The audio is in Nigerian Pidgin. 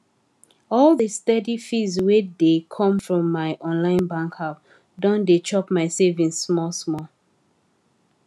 all the steady fees wey dey come from my online bank app don dey chop my savings small small